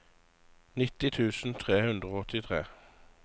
nitti tusen tre hundre og åttitre